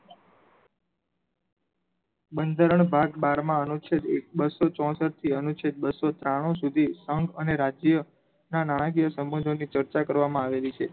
બંધારણ ભાગ બાર માં અનુચ્છેદ એક બસો ચોસઠ થી ચેક અનુચ્છેદ બસો ત્રાણું સુધી સંગ અને રાજ્ય ના નાણાકીય સંબંધો ની ચર્ચા કરવામાં આવેલી છે.